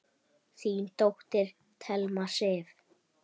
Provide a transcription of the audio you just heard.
Þín dóttir, Thelma Sif.